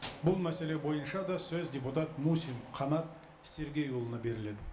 бұл мәселе бойынша да сөз депутат мусин қанат сергейұлына беріледі